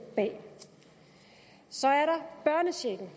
bag så er der børnechecken